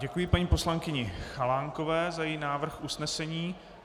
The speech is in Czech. Děkuji paní poslankyni Chalánkové za její návrh usnesení.